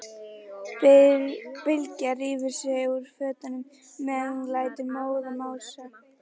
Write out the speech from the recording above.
Bylgja rífur sig úr fötunum meðan hún lætur móðan mása.